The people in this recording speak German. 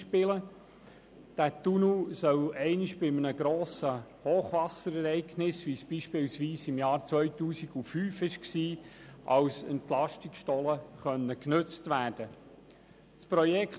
Dieser Tunnel soll bei einem grossen Hochwasserereignis, wie es beispielsweise im Jahr 2005 auftrat, als Entlastungsstollen genutzt werden können.